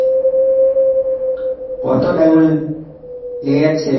কত diamond লেগে যাচ্ছে?